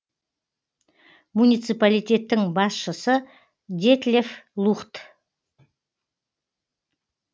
муниципалитеттің басшысы детлеф лухт